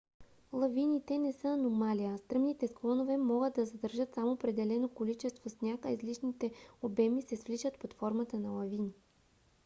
лавините не са аномалия; стръмните склонове могат да задържат само определено количество сняг а излишните обеми се свличат под формата на лавини